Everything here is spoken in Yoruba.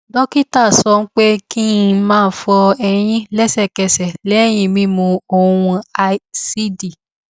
dókítà sọ pé kí n má fọ eyín lẹsẹkẹsẹ léyìn mímu ohun ásíìdì